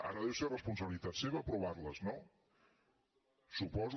ara deu ser responsabilitat seva aprovar les no suposo